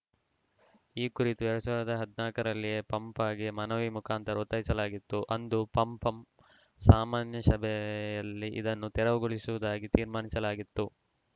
ಈ ಕುರಿತು ಎರಡ್ ಸಾವಿರದ ಹದ್ನಾಕ ರಲ್ಲಿಯೇ ಪಪಂಗೆ ಮನವಿ ಮುಖಾಂತರ ಒತ್ತಾಯಿಸಲಾಗಿತ್ತು ಅಂದು ಪಂಪಂ ಸಾಮಾನ್ಯಸಭೆಯಲ್ಲಿ ಇದನ್ನು ತೆರವುಗೊಳಿಸುವುದಾಗಿ ತೀರ್ಮಾನಿಸಲಾಗಿತ್ತು